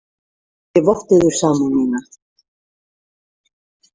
Ég votta yður samúð mína.